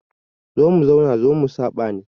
Zo mu zauna zo mu saɓa ne.